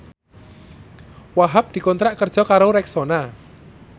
Wahhab dikontrak kerja karo Rexona